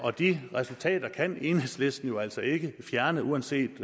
og de resultater kan enhedslisten jo altså ikke fjerne uanset